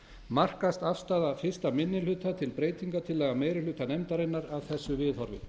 markast afstaða fyrsti minni hluta til breytingartillagna meiri hluta nefndarinnar af þessu viðhorfi